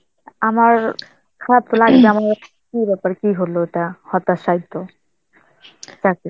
আমার খারাপ লাগবে কি ব্যাপার, কি হলো এটা, হতাশায়িত. চাকরি